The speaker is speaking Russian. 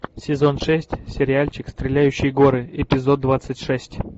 сезон шесть сериальчик стреляющие горы эпизод двадцать шесть